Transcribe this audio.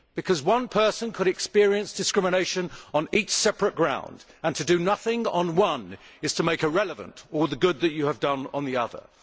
Because one person could experience discrimination on each separate ground, and to do nothing on one is to make irrelevant all the good that you have done on the other.